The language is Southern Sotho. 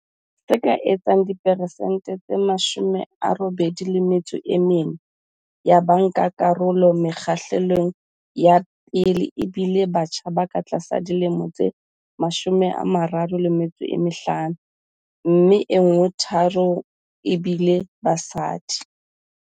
Se ka etsang diperesente tse 84 ya bankakarolo mokgahlelong wa pele e bile batjha ba ka tlasa dilemo tse 35, mme nngwe tharong ebile basadi.